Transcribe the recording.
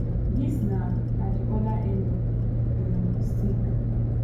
dis na na di oda end of di um stick